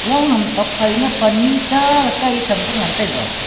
long ham thok pha na Pannu cha le Khan Cham ley ngan taiga.